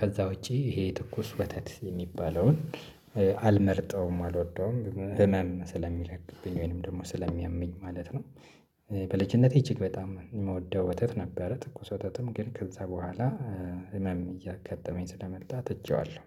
ከዛ ውጪ ይሄ ትኩስ ወተት የሚባለውን አልመርጠውም አልወደውም ህመን ስለሚለቅብኝ ወይንም ደግሞ ስለሚያምኝ ማለት ነው። በልጅነቴ እጅግ በጣም እ ምወደው ወተት ነበረ ትኩስ ወተትም ግን ከዛ በኋላ ህመም እያጋጠመኝ ስለመጣ ትቸዋለሁ